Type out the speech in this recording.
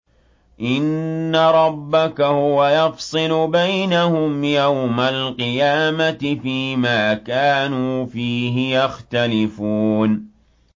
إِنَّ رَبَّكَ هُوَ يَفْصِلُ بَيْنَهُمْ يَوْمَ الْقِيَامَةِ فِيمَا كَانُوا فِيهِ يَخْتَلِفُونَ